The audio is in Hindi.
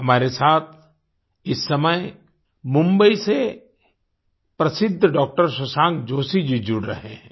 हमारे साथ इस समय मुम्बई से प्रसिद्द डॉक्टर शशांक जोशी जी जुड़ रहे हैं